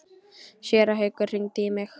Séra Haukur hringdi í mig.